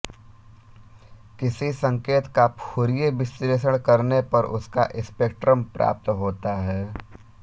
किसी संकेत का फुरिये विश्लेषण करने पर उसका स्पेक्ट्रम प्राप्त होता है